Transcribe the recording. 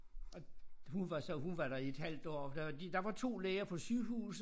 Og hun var så hun var der i et halvt år for der var de der var 2 læger på sygehuset